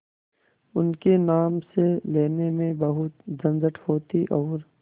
उनके नाम से लेने में बहुत झंझट होती और